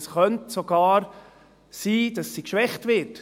Es könnte sogar sein, dass sie geschwächt wird.